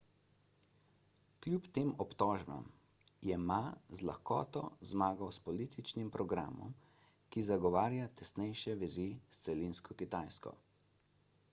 kljub tem obtožbam je ma z lahkoto zmagal s političnim programom ki zagovarja tesnejše vezi s celinsko kitajsko